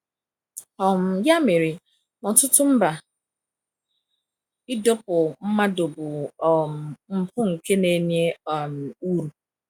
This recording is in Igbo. um Ya mere, n’ọtụtụ mba, ịdọkpụ mmadụ bụ um mpụ nke na-enye um uru.